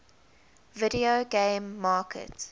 video game market